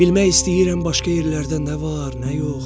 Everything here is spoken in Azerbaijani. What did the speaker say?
Bilmək istəyirəm başqa yerlərdə nə var, nə yox.